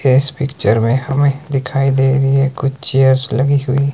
इस पिक्चर में हमें दिखाई दे रही है कुछ चेयर्स लगी हुई।